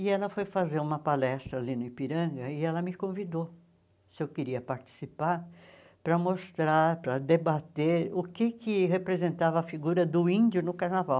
E ela foi fazer uma palestra ali no Ipiranga e ela me convidou, se eu queria participar, para mostrar, para debater o que que representava a figura do índio no carnaval.